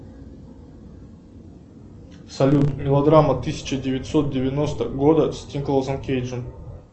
салют мелодрама тысяча девятьсот девяностого года с николасом кейджем